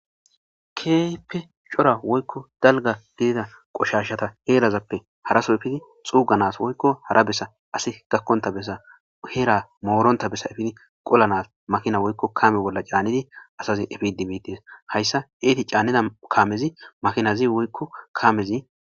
Kepe cora woykko dalga gidida qoshashata heelazappe haraso efidi xuuganas woykko hara bessa asi gakkonta bessa heera mooronta bessa ifidi qolanas makina woykko kame bolla caannidi asazin efidi miides hayssa eeti caanida kaamezi makinazi woykko kaamezi.